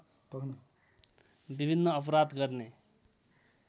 विभिन्न अपराध गर्ने